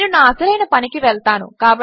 నేను నా అసలైన పనికి వెళ్తాను